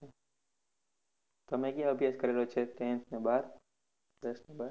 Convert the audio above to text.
તમે ક્યાં અભ્યાસ કરેલો છે, ten અને બાર, દસ અને બાર.